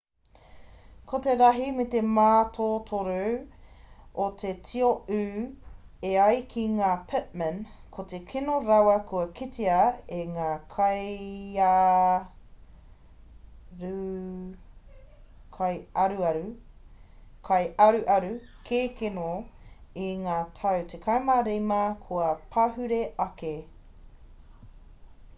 ko te rahi me te mātotoru o te tio ū e ai ki a pittman ko te kino rawa kua kitea e ngā kaiaruaru kēkeno i ngā tau 15 kua pahure ake